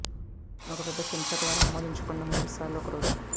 ఒక పెద్ద చెంచా ద్వారా ఆమోదించబడిన మూడు సార్లు ఒక రోజు